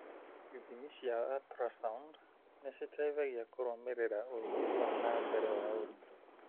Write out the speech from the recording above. Ithimi cia ultrasound nĩ citeithagia kũrũmĩrĩra ũthii wa na mbere wa ũritũ.